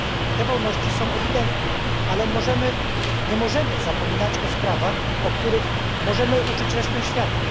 Te wolności są ewidentne, ale nie możemy zapominać o sprawach, o których możemy uczyć resztę świata.